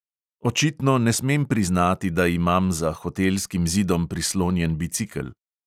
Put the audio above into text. Očitno ne smem priznati, da imam za hotelskim zidom prislonjen bicikel.